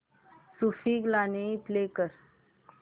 सूफी गाणी प्ले कर